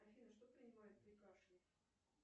афина что принимают при кашле